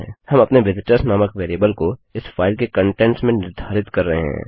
हम अपने विजिटर्स नामक वेरिएबल को इस फाइल के कंटेंट्स में निर्धारित कर रहे हैं